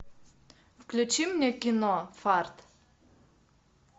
включи мне кино фарт